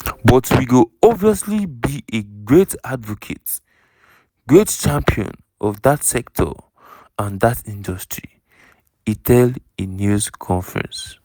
"but we go obviously be a great advocate great champion of dat sector and dat industry" e tell a news conference.